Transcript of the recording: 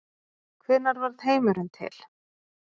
hvenær varð heimurinn til